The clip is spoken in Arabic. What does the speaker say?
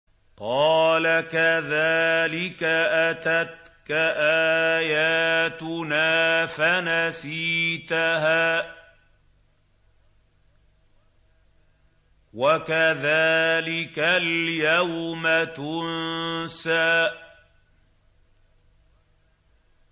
قَالَ كَذَٰلِكَ أَتَتْكَ آيَاتُنَا فَنَسِيتَهَا ۖ وَكَذَٰلِكَ الْيَوْمَ تُنسَىٰ